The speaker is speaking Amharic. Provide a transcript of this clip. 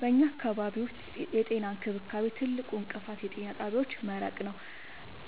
በኛ አካባቢ ዉስጥ የጤና እንክብካቤ ትልቁ እንቅፋት የጤና ጣቢያዎች መራቅ ነዉ።